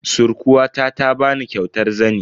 Surkuwata ta bani kyautar zani.